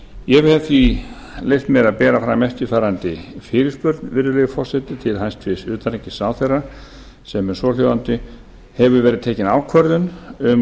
ég hef því leyft mér að bera fram eftirfarandi fyrirspurn virðulegi forseti til utanríkisráðherra sem er svo hljóðandi hefur verið tekin ákvörðun um